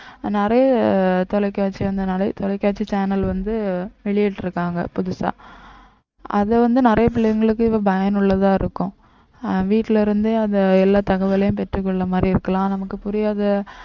அஹ் நிறைய தொலைக்காட்சி வந்து நிறைய தொலைக்காட்சி channel வந்து வெளியிட்டிருக்காங்க புதுசா அதை வந்து நிறைய பிள்ளைங்களுக்கு இப்போ பயனுள்ளதா இருக்கும் அஹ் வீட்டிலே இருந்தே அந்த எல்லா தகவலையும் பெற்றுக் கொள்ளுமாறு இருக்கலாம் நமக்கு புரியாத